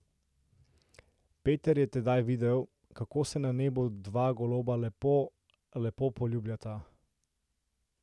Peter je tedaj videl, kako se na nebu dva goloba lepo, lepo poljubljata.